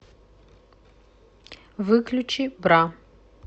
выключи бра